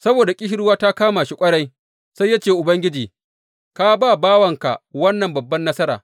Saboda ƙishirwa ta kama shi ƙwarai, sai ya ce wa Ubangiji, Ka ba bawanka wannan babbar nasara.